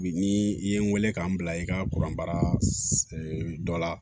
Bi ni i ye n weele k'an bila i ka kuran baara dɔ la